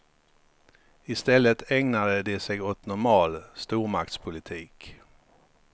I stället ägnade de sig åt normal stormaktspolitik.